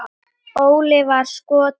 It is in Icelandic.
Óli var sko til.